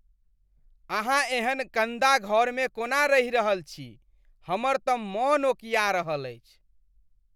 अहाँ एहन गन्दा घरमे कोना रहि रहल छी ? हमर तऽ मन ओकिया रहल अछि।